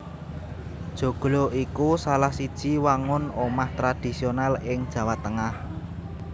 Joglo iku salah siji wangun omah tradisional ing Jawa Tengah